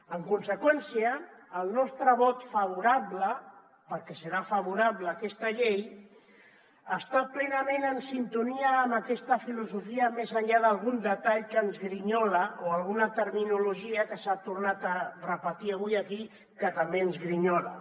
en conseqüència el nostre vot favorable perquè serà favorable a aquesta llei està plenament en sintonia amb aquesta filosofia més enllà d’algun detall que ens grinyola o alguna terminologia que s’ha tornat a repetir avui aquí que també ens grinyola